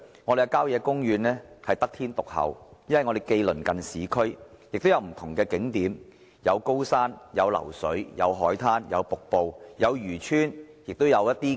我們的郊野公園得天獨厚，既鄰近市區，也有不同景點，有高山、流水、海灘、瀑布、漁村、廟宇。